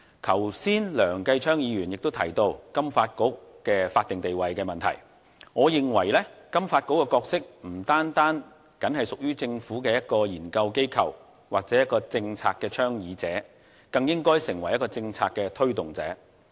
剛才梁繼昌議員提到金發局的法定地位問題，我認為金發局的角色不僅只屬於一個政策研究機構或政策倡議者，它更應成為政策推動者。